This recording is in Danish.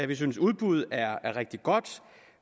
vi synes at udbud er rigtig godt